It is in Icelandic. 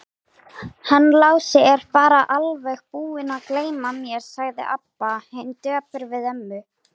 Hann Lási er bara alveg búinn að gleyma mér, sagði Abba hin döpur við ömmu.